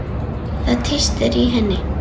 Það tístir í henni.